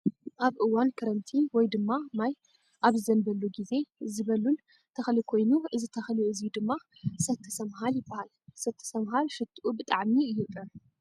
ኣብ እዋን ክረምቲ ወይ ድማ ማይ ኣብ ዝዘንበሉ ግዜ ዝበሉል ተኽሊ ኮይኑ እዚ ተኽሊ እዙይ ድማ ሰቲ ሰምሃል ይበሃል። ሰቲ ሰምሃል ሽትኡ ብጣዕሚ እዩ ጥዑም።